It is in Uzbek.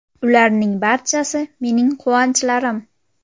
Ularning barchasi mening quvonchlarim.